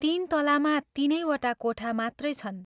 तीन तलामा तीनै वटा कोठा मात्रै छन्।